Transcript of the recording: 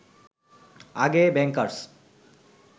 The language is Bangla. আগে ব্যাংকার্স